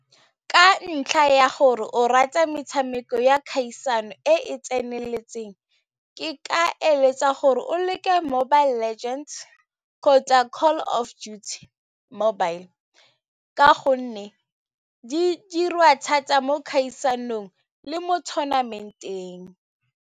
Ka ntlha ya gore o rata metshameko ya kgaisano e e tseneletseng, ke ka eletsa gore o leke Mobile Legends kgotsa Call of Duty mobile ka gonne di diriwa thata mo kgaisanong le mo tournament-eng.